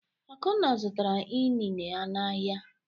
Akunna zụtara inine n’ahịa.